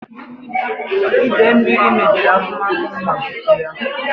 Ide mmiri mebiri n'akụmakụ m ma bupu ya.